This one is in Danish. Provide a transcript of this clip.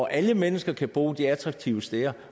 alle mennesker kan bo de attraktive steder